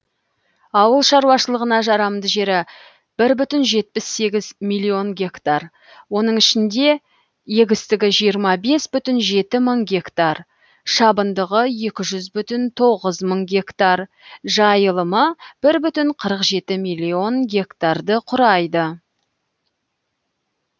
ауыл шаруашылығына жарамды жері бір бүтін жетпіс сегіз миллион гектар оның ішінде егістігі жиырма бес бүтін жеті мың гектар шабындығы екі жүз бүтін тоғыз мың гектар жайылымы бір бүтін қырық жеті миллион гектарды құрайды